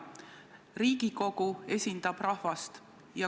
Riigikogu esindab rahvast.